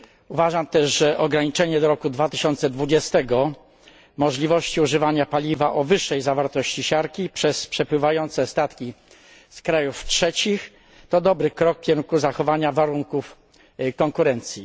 Uważam też, że ograniczenie do roku 2020 możliwości używania paliwa o wyższej zawartości siarki przez przepływające statki z krajów trzecich to dobry krok w kierunku zachowania warunków konkurencji.